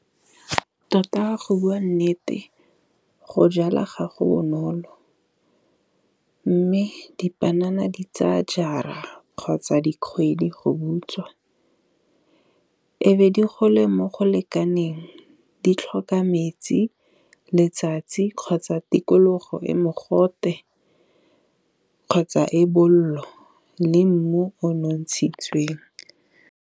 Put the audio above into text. Tota go bua nnete go jala gago bonolo, mme dipanana di tsaa jara kgotsa dikgwedi go butswa. E be di gole mo go lekaneng di tlhoka metsi, letsatsi kgotsa tikologo e mogote kgotsa e bollo, le mmu o nontshitsiweng.